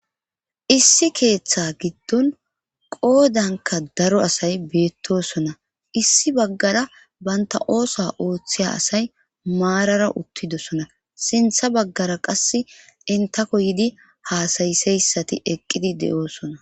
issi keeththa giddon qoodanka daro asay beettosona issi baggara banta oosa ooththiya asay maarara uttidosona sintha baggara qass intako yidi haasayiseyssati eqqidi de7oosona